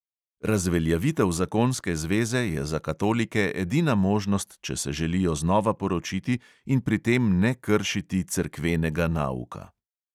Razveljavitev zakonske zveze je za katolike edina možnost, če se želijo znova poročiti in pri tem ne kršiti cerkvenega nauka.